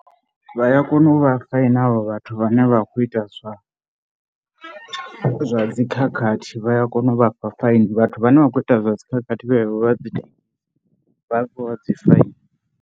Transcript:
Vha ya kona u vha faina havho vhathu vhane vha kho ita zwa dzikhakhathi, vha ya kona u vhafha faini vhathu vhane vha kho ita zwa dzi khakhathi, vhenevho vha a fhiwa dzi faini.